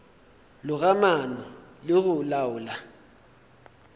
loga maano le go laola